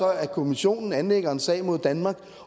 er at kommissionen anlægger en sag mod danmark